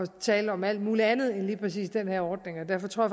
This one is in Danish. tale om alt mulig andet end lige præcis den her ordning og derfor tror